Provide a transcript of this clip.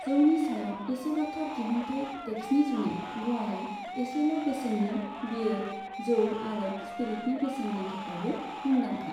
जौनि सायाव एसेल'थार दिहुन्थाइ टेक्सनि जुनै ग'वाया एसेल' बेसेननि बीयेर, जौ आरो स्पिरिटनि बेसेननि थाखायबो मुंदांखा।